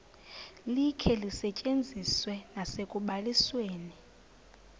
likhe lisetyenziswe nasekubalisweni